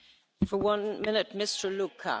Frau Präsidentin, meine Damen und Herren!